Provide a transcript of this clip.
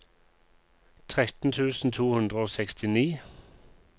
tretten tusen to hundre og sekstini